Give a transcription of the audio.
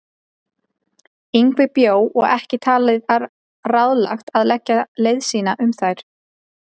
Yngvi bjó og ekki talið ráðlegt að leggja leið sína um þær.